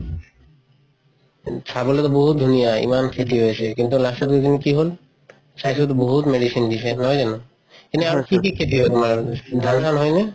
চবলৈটো বহুত ধুনীয়া ইমান খেতি হয় আছে কিন্তু last ৰ দুদিন কি হল চাইছো বহুত medicine দিছে নহয় জানো কি কি খেতি হয় তুমাৰ ধান চান হয় নে?